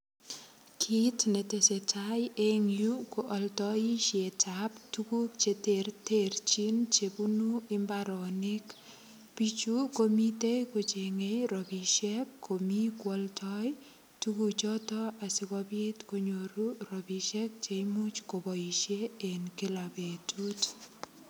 Kit ne tesetai eng yu ko aldoisietab tuguk cheterchin che bunu mbaronik. Biichu ko mitei kochengei ropisiek komi kwaldoi tuguchoto asigopit konyoru ropisiek che imuch koboisien eng kila betut.